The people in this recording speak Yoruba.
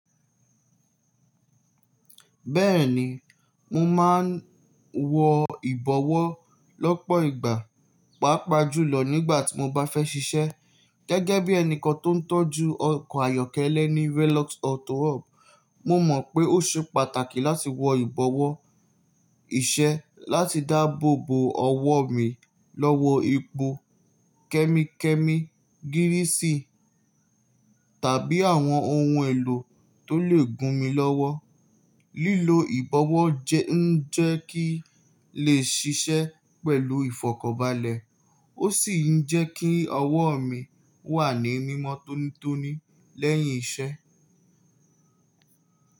Bẹ́ẹ̀ni, mo máa ń wọ ìbọwọ́ lọ́pọ̀ ìgbà, pàápàá jùlọ nígbà tí mo bá fẹ́ ṣiṣẹ́. Gẹ́gẹ́ bí ẹni kan tó ń tọ́jú ọkọ̀ ayọ́kẹ́lẹ́ ní Velox Autowork, mo mọ̀ pé ó ṣe pàtàkì láti wọ ìbọwọ́ iṣẹ́ láti dáàbò bo ọwọ́ mi lọ́wọ́ epo, kẹ́míkẹ́míkí, gírísì tàbí àwọn ohun èlò tó lè gún mi lọ́wọ́. Lílo ìbọwọ́ jẹ ń jẹ́ kí n lè ṣiṣẹ́ pẹ̀lú ìfọ̀kọ̀bálẹ, ó sì ń jẹ́ kí ọwọ́ mi wà ní mìmọ́ tónítóní lẹ́yìn iṣẹ́.